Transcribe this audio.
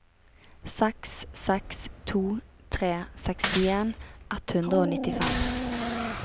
seks seks to tre sekstien ett hundre og nittifem